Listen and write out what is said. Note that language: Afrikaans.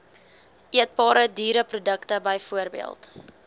eetbare diereprodukte bv